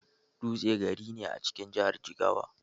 Dutse gari ne a cikin jahar Jigawa.